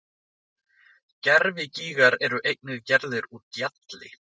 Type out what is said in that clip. Gervigígar eru einnig gerðir úr gjalli.